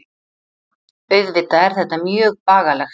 Auðvitað er þetta mjög bagalegt